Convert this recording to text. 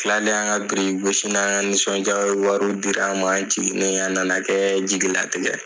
tilalen an ka biriki gosi an nisɔndiya o ye wariw dira an ma an jigini a na na kɛ jigi latigɛ ye.